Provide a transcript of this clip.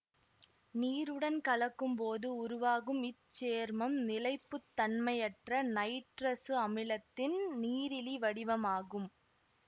நீருடன் கலக்கும் போது உருவாகும் இச்சேர்மம் நிலைப்பு தன்மையற்ற நைட்ரசு அமிலத்தின் நீரிலி வடிவமாகும்